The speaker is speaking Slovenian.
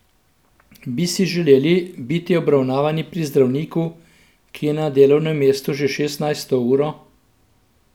Bi si želeli biti obravnavani pri zdravniku, ki je na delovnem mestu že šestnajsto uro?